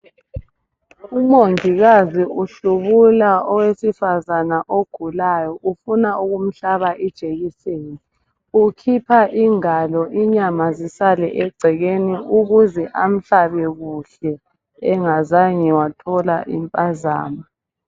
Umongikazi uhlubula owesifazana ogulayo, ufuna ukumhlaba ijekiseni. Ukhipha ingalo ,inyama zisale egcekeni ukuze amhlabe kuhle engazange wathola impazamo.